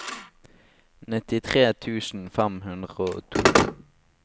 nittitre tusen fem hundre og to